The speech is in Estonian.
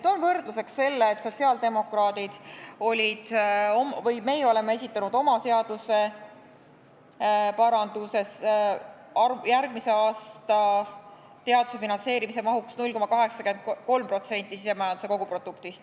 Toon võrdluseks selle, et sotsiaaldemokraadid on esitanud oma seaduseparanduses järgmise aasta teaduse finantseerimise mahuks 0,83% sisemajanduse koguproduktist.